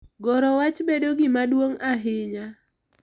Goro wach bedo gima duong’ ahinya.